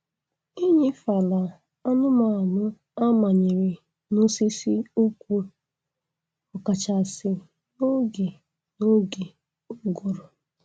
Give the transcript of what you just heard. Eṅefala anụmanụ a manyere n'osisi ụkwụ, ọ kachasị n'oge n'oge ụgụrụ